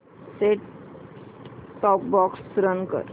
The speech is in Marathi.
सेट टॉप बॉक्स रन कर